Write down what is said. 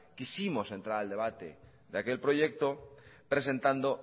quisimos entrar al debate de aquel proyecto presentando